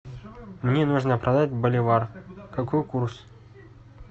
мне нужно продать боливар какой курс